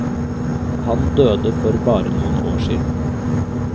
Han døde for bare noen år siden.